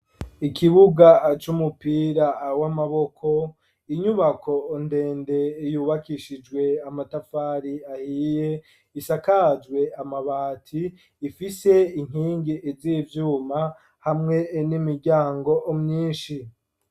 Ikibuga c'umupira w'amaboko inyubako ndende yubakishijwe amatafari ahiye isakajwe amabati ifise inkingi z'ivyuma hamwe n'imiryango myinshi.